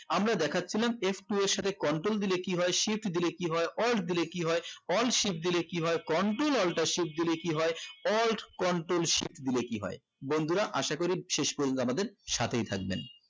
আমরা দেখছিলাম f two এর সাথে control দিলে কি হয় shift দিলে কি হয় alt দিলে কি হয় alt shift দলে কি হয় control alter shift alt control shift দিলে কি হয় বন্ধুরা আসা করি শেষ পর্যন্ত আমাদের সাথেই থাকবেন